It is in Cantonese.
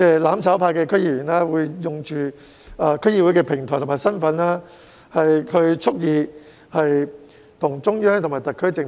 "攬炒派"區議會議員利用區議會的平台及其身份，蓄意對抗中央和特區政府。